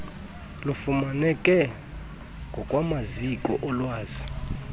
lufumaneke ngokwamaziko olwazi